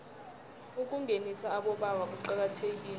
ukungenisa abobaba kuqakathekile